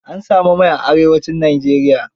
An sami mai a Arewacin Nigeria.